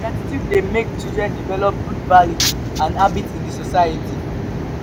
gratitude dey make children develop good values and habits in the society.